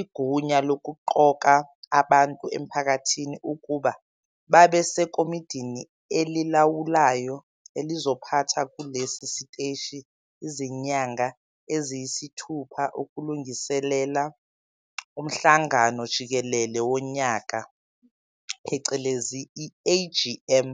igunya lokuqoka abantu emphakathini ukuba babe sekomidini elilawulayo elizophatha kulesi siteshi izinyanga eziyisithupha ukulungiselela Womhlangano Jikelele Wonyaka phecelezi i-AGM,